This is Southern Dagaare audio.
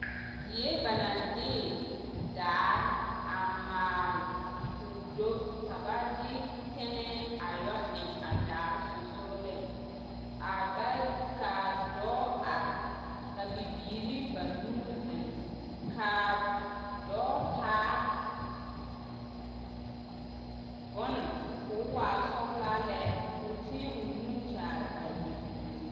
Die banaŋ de daare a maale k'o do ka ba de tɛnɛɛ a yɔ eŋ a daare sonsogeleŋ, a ba, k'a dɔɔ are ka bibiiri banuu zeŋ k'a dɔɔ taa bone k'o waa sɔgelaa lɛ k'o tēɛ o nu kyaare a bibiiri.